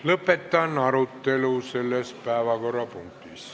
Lõpetan arutelu selles päevakorrapunktis.